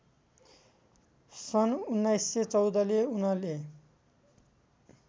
सन् १९१४ ले उनले